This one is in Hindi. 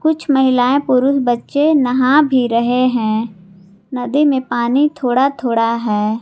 कुछ महिलाएं पुरुष बच्चे नहा भी रहे हैं नदी में पानी थोड़ा थोड़ा है।